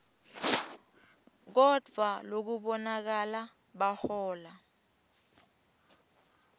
kodvwa lokubonakala bahola